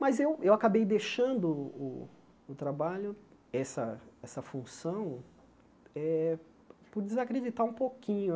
Mas eu eu acabei deixando o o trabalho, essa essa função, eh por desacreditar um pouquinho.